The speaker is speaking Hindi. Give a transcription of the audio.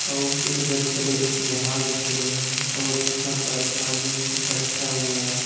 और कुछ बछड़े भाग भी रहे हैं और यहाँ पर पानी इकट्ठा हुआ है।